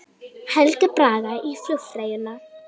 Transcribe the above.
Helga Braga í flugfreyjuna